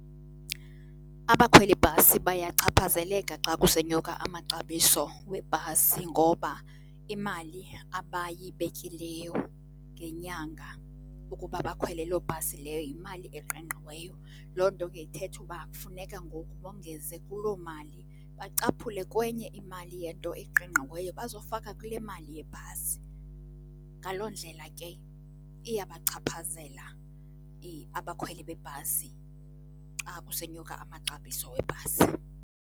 Abakhwelibhasi bayachaphazeleka xa kusenyuka amaxabiso webhasi ngoba imali abayibekileyo ngenyanga ukuba bakhwele loo bhasi leyo yimali eqingqiweyo. Loo nto ke ithetha uba kufuneka ngoku bongeze kuloo mali bacaphule kwenye imali yento eqingqiweyo bazofaka kule mali yebhasi. Ngaloo ndlela ke iyabachaphazela abakhweli bebhasi xa kusenyuka amaxabiso webhasi.